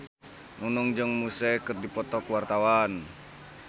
Nunung jeung Muse keur dipoto ku wartawan